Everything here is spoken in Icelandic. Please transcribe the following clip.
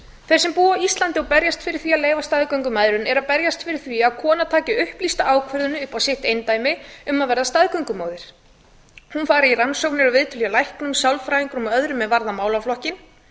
þeir sem búa á íslandi og berjast fyrir því að leyfa staðgöngumæðrun eru að berjast fyrir því að kona taki upplýsta ákvörðun upp á sitt eindæmi um að verða staðgöngumóðir hún fer í rannsóknir og fær viðtöl hjá læknum sálfræðingum og öðrum er varða málaflokkinn